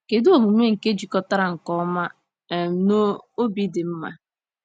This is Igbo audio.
Kedu omume nke jikọtara nke ọma um na obi dị mma?